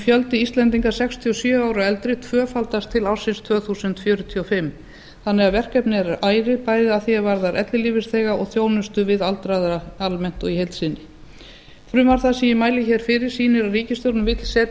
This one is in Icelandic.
fjöldi íslendinga sextíu og sjö ára og eldri tvöfaldast til ársins tvö þúsund fjörutíu og fimm þannig að verkefnið er ærið bæði að því er varðar ellilífeyrisþega og þjónustu við aldraða almennt og í heild sinni frumvarp það sem ég mæli hér fyrir sýnir að ríkisstjórnin vill setja